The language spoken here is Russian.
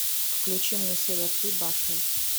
включи мне серия три башни